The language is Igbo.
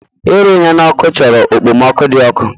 Ịrụ ihe n'ọkụ chọrọ okpomọkụ dị ọkụ